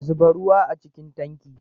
Zuba ruwa a cikin tankin